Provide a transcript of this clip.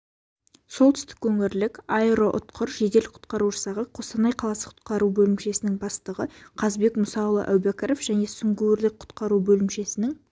солтүстік өңірлік аэроұтқыр жедел-құтқару жасағы қостанай қаласы құтқару бөлімшесінің басшысы қазбек мұсаұлы әубәкіров және сүңгуірлік-құтқару бөлімшесінің